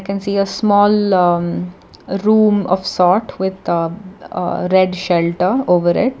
you can see a small aa room of sort with a aa red shelter over it.